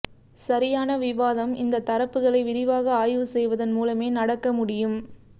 சரியான விவாதம் இந்த தரப்புகளை விரிவாக ஆய்வுசெய்வதன் மூலமே நடக்க முடியும்